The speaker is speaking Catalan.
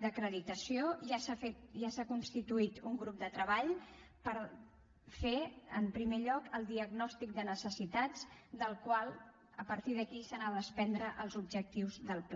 d’acreditació ja s’ha fet ja s’ha constituït un grup de treball per fer en primer lloc el diagnòstic de necessitats del qual a partir d’aquí s’han de desprendre els objectius del pla